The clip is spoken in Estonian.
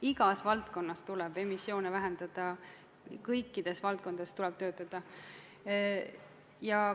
Igas valdkonnas tuleb emissioone vähendada, kõikides valdkondades tuleb selle nimel töötada.